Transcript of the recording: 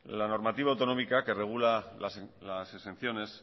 la normativa autonómica que regula las exenciones